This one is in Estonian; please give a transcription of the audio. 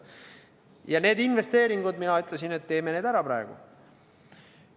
Ja ma ütlesin, et teeme need investeeringud praegu ära.